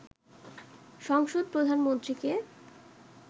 সংসদ প্রধানমন্ত্রীকে